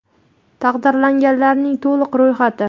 Taqdirlanganlarning to‘liq ro‘yxati.